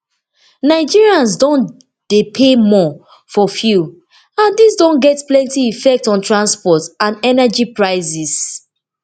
nigerians now dey pay more for fuel and dis don get plenty effect on transport and energy prices